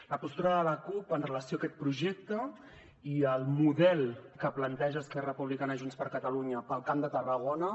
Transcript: la postura de la cup en relació amb aquest projecte i amb el model que plantegen esquerra republicana junts per catalunya per al camp de tarragona